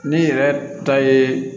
Ne yɛrɛ ta ye